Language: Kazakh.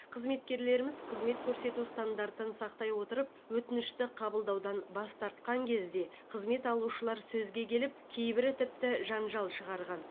қызметкерлеріміз қызмет көрсету стандартын сақтай отырып өтінішті қабылдаудан бас тартқан кезде қызмет алушылар сөзге келіп кейбірі тіпті жанжал шығарған